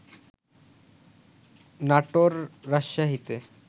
নাটোর, রাজশাহীতে